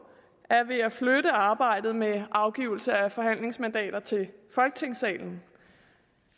er ved at flytte arbejdet med afgivelse af forhandlingsmandater til folketingssalen